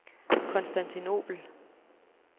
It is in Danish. Konstantinobel